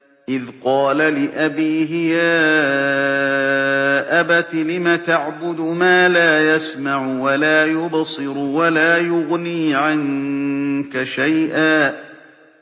إِذْ قَالَ لِأَبِيهِ يَا أَبَتِ لِمَ تَعْبُدُ مَا لَا يَسْمَعُ وَلَا يُبْصِرُ وَلَا يُغْنِي عَنكَ شَيْئًا